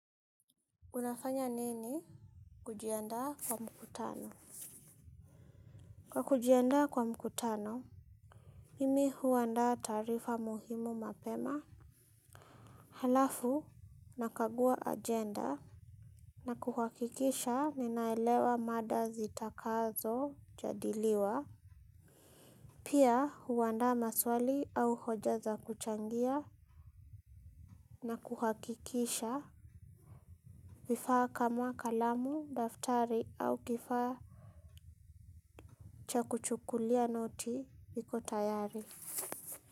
Unafanya nini kujiandaa kwa mkutano? Kwa kujiandaa kwa mkutano, mimi huandaa taarifa muhimu mapema. Halafu nakagua agenda na kuhakikisha ninaelewa mada zitakazojadiliwa. Pia huandaa maswali au hoja za kuchangia na kuhakikisha. Vifaa kama kalamu, daftari au kifaa cha kuchukulia noti viko tayari.